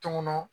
Tun ŋɔnɔ